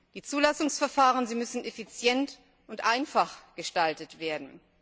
Die Zulassungsverfahren müssen effizient und einfach gestaltet werden.